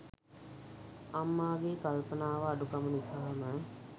අම්මාගේ කල්පනාව අඩුකම නිසාම